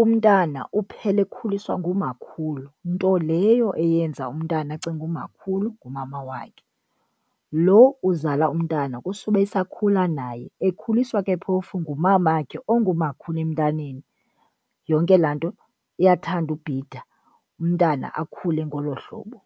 umntana uphela ekhuliswa ngumakhulu nto leyo eyenza umntana acinge umakhulu ngumama wakhe. Lo uzala umntana kusuba esakhula naye ekhuliswa ke phofu ngumamakhe ongumakhulu emntaneni. Yonke laa nto iyathanda ubhida, umntana akhule ngolo hlobo.